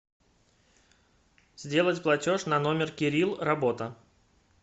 сделать платеж на номер кирилл работа